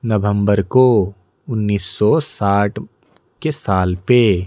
नवंबर को उन्नीस सौ साठ के साल पे--